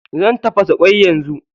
Zan tafasa ƙwai yanzu.